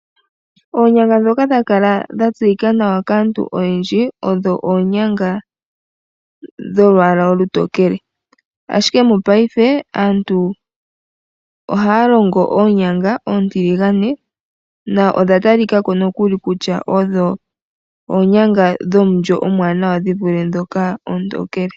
Oonyanga oha tu dhi longitha ngele tatu teleka iikulya yetu nenge oonyama dhetu , oshoka oha dhi gandja omulyo momihoka dhetu.